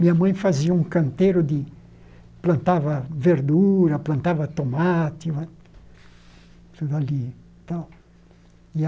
Minha mãe fazia um canteiro de... plantava verdura, plantava tomate, tudo ali. Então